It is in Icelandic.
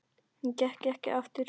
Hún gekk ekki aftur.